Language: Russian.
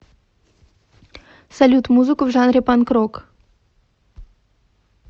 салют музыку в жанре панк рок